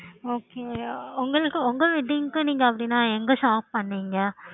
okay